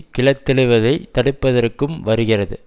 கிளர்த்தெழுவதை தடுப்பதற்கும் வருகிறது